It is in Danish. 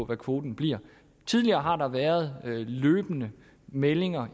hvad kvoten bliver tidligere har der været løbende meldinger